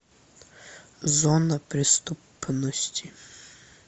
зона преступности